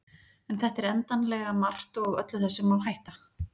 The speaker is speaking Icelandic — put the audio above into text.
En þetta er endanlega margt og öllu þessu má hætta.